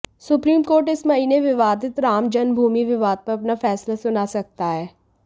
supreme Court इस महीने विवादित राम जन्मभूमि विवाद पर अपना फैसला सुना सकता है